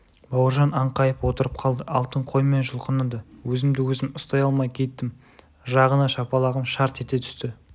бауыржан аңқайып отырып қалды алтын қоймай жұлқынады өзімді-өзім ұстай алмай кеттім жағына шапалағым шарт ете түсті